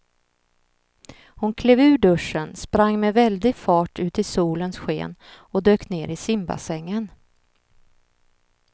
Hon klev ur duschen, sprang med väldig fart ut i solens sken och dök ner i simbassängen.